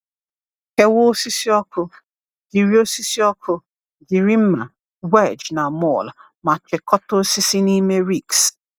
Kewaa osisi ọkụ, jiri osisi ọkụ, jiri mma, wedge, na maul, ma chịkọta osisi n’ime ricks.